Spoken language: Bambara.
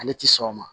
Ale ti sɔn o ma